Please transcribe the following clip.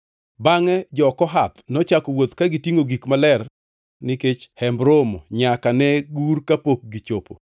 Bangʼe jo-Kohath nochako wuoth ka gitingʼo gik maler nikech Hemb Romo nyaka ne gur kapok gichopo.